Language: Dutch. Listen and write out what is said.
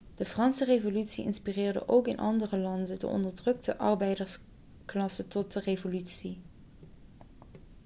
de franse revolutie inspireerde ook in andere landen de onderdrukte arbeidersklasse tot een revolutie